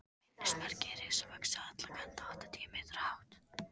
Minnismerkið er risavaxið á alla kanta og áttatíu metra hátt.